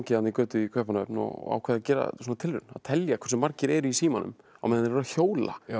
götu í Kaupmannahöfn og ákvað að gera tilraun að telja hversu margir eru í símanum á meðan þeir hjóla